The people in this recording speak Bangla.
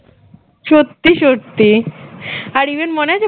সত্যি সত্যি আর even মনে আছে